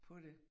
På det